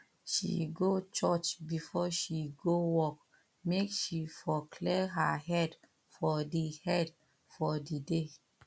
she go church before she go work make she for clear her head for di head for di day